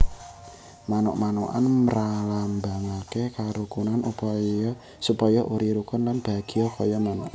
Manuk manukan mralambangake karukunan supaya uri rukun lan bahagya kaya manuk